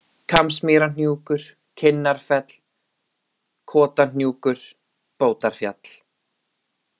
Kambsmýrarhnjúkur, Kinnarfell, Kotahnjúkur, Bótarfjall